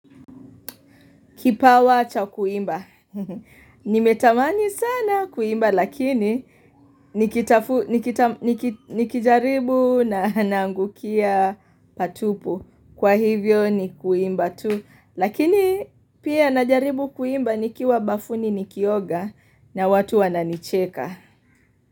Kipawa cha kuimba. Nimetamani sana kuimba lakini nikijaribu na nangukia patupu. Kwa hivyo ni kuimba tu. Lakini pia najaribu kuimba nikiwa bafuni nikioga na watu wananicheka.